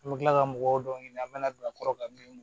An bɛ kila ka mɔgɔw dɔw ɲini an bɛna don a kɔrɔ ka bin